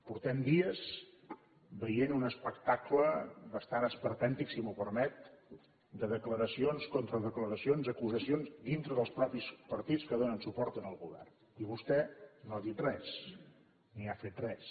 fa dies que veiem un espectacle bastant esperpèntic si m’ho permet de declaracions contradeclaracions acusacions dintre dels mateixos partits que donen suport al govern i vostè no ha dit res ni ha fet res